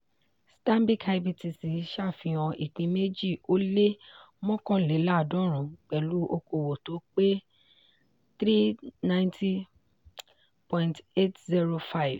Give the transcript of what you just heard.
stanbic ibtc ṣàfihàn ìpín méjì ó lé mọ́kànléláàdọ́run pẹ̀lú okòwò tó pé three hundred ninety point eight zero five.